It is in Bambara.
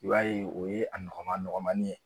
I b'a ye o ye a nɔgɔma nɔgɔmani ye